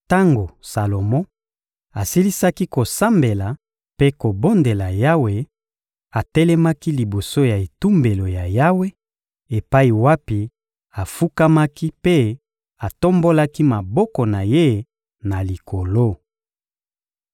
Tango Salomo asilisaki kosambela mpe kobondela Yawe, atelemaki liboso ya etumbelo ya Yawe epai wapi afukamaki mpe atombolaki maboko na ye na likolo.